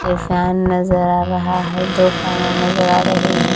फिर फैन नजर आ रहा है दो फैन नजर आ रहे हैं।